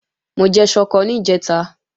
Mo jẹ ṣọkọ níjẹ̀ta